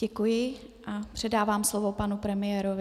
Děkuji a předávám slovo panu premiérovi.